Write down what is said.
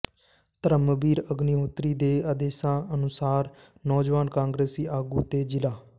ਧਰਮਬੀਰ ਅਗਨੀਹੋਤਰੀ ਦੇ ਆਦੇਸ਼ਾਂ ਅਨੁਸਾਰ ਨੌਜਵਾਨ ਕਾਂਗਰਸੀ ਆਗੂ ਤੇ ਜ਼ਿਲ੍ਹਾ